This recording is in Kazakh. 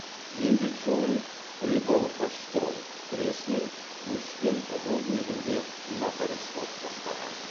еңбек жолын прибалхашстрой тресінің өспен руднигінде моторис болып бастаған